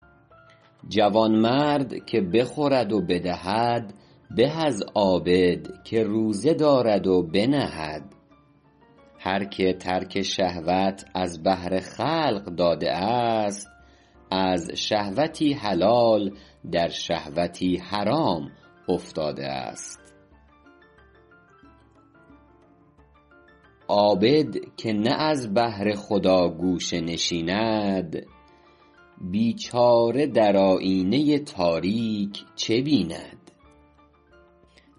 جوانمرد که بخورد و بدهد به از عابدی که روزه دارد و بنهد هر که ترک شهوات از بهر قبول خلق داده است از شهوتی حلال در شهوتی حرام افتاده است عابد که نه از بهر خدا گوشه نشیند بیچاره در آیینه تاریک چه بیند